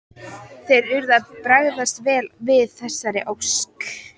Þeir urðu að bregðast vel við þessari ósk.